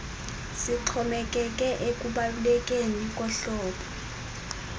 sixhomekeke ekubalulekeni kohlobo